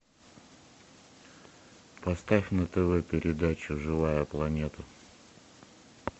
поставь на тв передачу живая планета